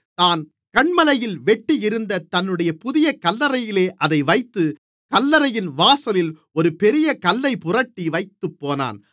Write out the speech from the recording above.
தான் கன்மலையில் வெட்டியிருந்த தன்னுடைய புதிய கல்லறையிலே அதை வைத்து கல்லறையின் வாசலில் ஒரு பெரிய கல்லைப் புரட்டி வைத்துப்போனான்